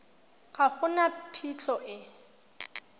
ga go na phitlho e